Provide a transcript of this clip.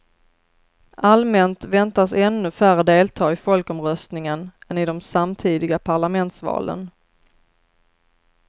Allmänt väntas ännu färre delta i folkomröstningen än i de samtidiga parlamentsvalen.